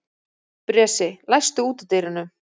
Bresi, læstu útidyrunum.